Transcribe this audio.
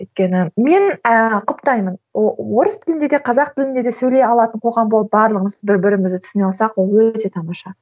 өйткені мен ііі құптаймын орыс тілінде де қазақ тілінде де сөйлей алатын қоғам болып барлығымыз бір бірімізді түсіне алсақ ол өте тамаша